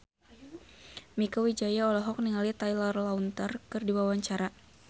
Mieke Wijaya olohok ningali Taylor Lautner keur diwawancara